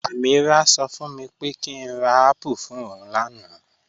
Ameerah ṣọ fún mi pé kí n rà apple fún ọún làànà